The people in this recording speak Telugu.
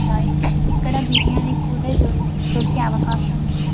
దొరుకుతాయి ఇక్కడ బిరియాని కూడా దొరికే దొరికే అవకాశం ఉంది --